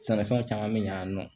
Sɛnɛfɛnw caman mi ɲa yan nɔ